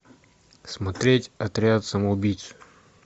смотреть отряд самоубийц